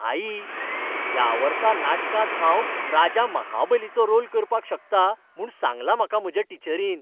आई, ह्या वर्सा नाटकांत हांव राजा महाबलीचो रोल करपाक शकता म्हूण सांगलां म्हाका म्हज्या टीचरीन.